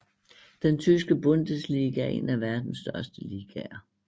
Den tyske Bundesliga er en af verdens største ligaer